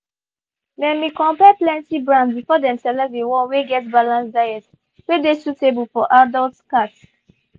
they been compare plenty brands before them select the one wey get balanced diet wey dey suitable for adults cats